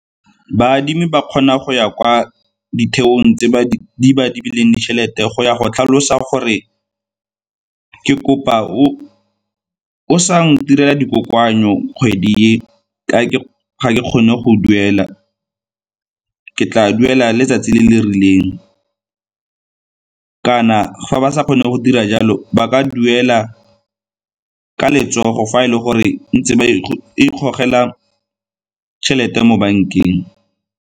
Baadimi ba kgona go ya kwa ditheong tse di ba adimileng ditšhelete go ya go tlhalosa gore, ke kopa o sa ntirela di kokoanyo kgwedi e ka ke ga ke kgone go duela, ka ke tla duela letsatsi le le rileng kana fa ba sa kgone go dira jalo ba ka duela ka letsogo fa e le gore ntse e ikgogela tšhelete mo bankeng.